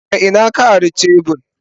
Daga ina ka ari shebur?